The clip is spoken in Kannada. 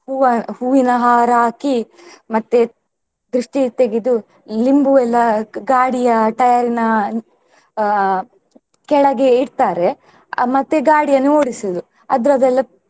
ಹೂವ ಹೂವಿನ ಹಾರ ಹಾಕಿ ಮತ್ತೆ ದೃಷ್ಟಿ ತೆಗೆದು ಲಿಂಬು ಎಲ್ಲಾ ಗಾಡಿಯ tyre ನ ಅಹ್ ಕೆಳಗೆ ಇಡ್ತಾರೆ ಅಹ್ ಮತ್ತೆ ಗಾಡಿಯನ್ನು ಓಡಿಸುದು ಅದ್ರದೆಲ್ಲ.